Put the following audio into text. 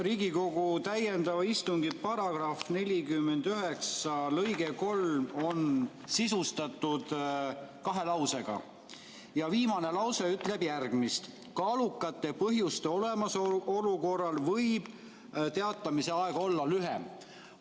Riigikogu täiendava istungi § 49 lõige 3 on sisustatud kahe lausega ja viimane lause ütleb järgmist: "Kaalukate põhjuste olemasolu korral võib etteteatamise aeg olla lühem.